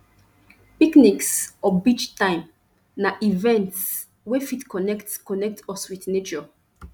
picnics or beach time na events wey fit connect connect us with nature